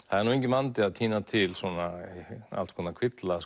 það er nú engin vandi að tína til svona alls konar kvilla